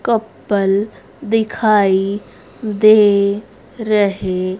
couple दिखाई दे रहे--